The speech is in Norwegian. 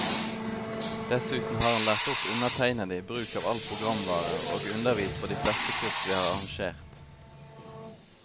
Dessuten har han lært opp undertegnede i bruk av all programvare, og undervist på de fleste kurs vi har arrangert.